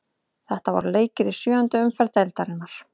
Þetta voru leikir í sjöundu umferð deildarinnar.